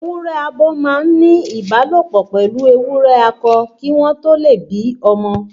Ewúrẹ abo máa n ni ìbálòpọ̀ pẹlu ewúrẹ akọ kii won to le bí ọmọ